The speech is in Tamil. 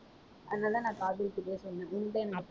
அதனால நான் காஜல்கிட்ட போய் சொன்னேன்.